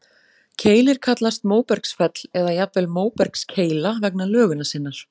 Keilir kallast móbergsfell, eða jafnvel móbergskeila vegna lögunar sinnar.